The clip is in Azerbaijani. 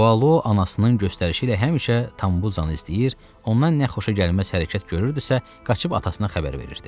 Bualo anasının göstərişi ilə həmişə Tambuzanı izləyir, ondan nə xoşagəlməz hərəkət görürdüsə, qaçıb atasına xəbər verirdi.